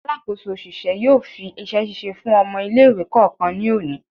Alakoso oṣiṣẹ yóò fi iṣẹ-ṣiṣe fún ọmọ ile-iwe kọọkan ní oni